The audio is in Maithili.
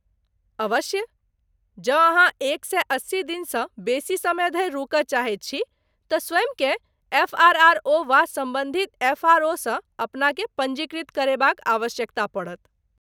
अवश्य। जँ अहाँ एक सए अस्सी दिनसँ बेसी समय धरि रुकय चाहैत छी तँ स्वयंकेँ एफ.आर.आर.ओ. वा सम्बन्धित एफ.आर.ओ.सँ अपनाकेँ पञ्जीकृत करयबाक आवश्यकता पड़त।